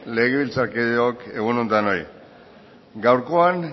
legebiltzarkideok egun on denoi gaurkoan